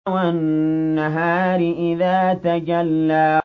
وَالنَّهَارِ إِذَا تَجَلَّىٰ